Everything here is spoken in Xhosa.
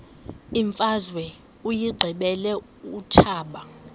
imfazwe uyiqibile utshaba